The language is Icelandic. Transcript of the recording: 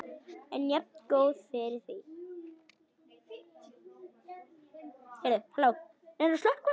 En jafngóð fyrir því!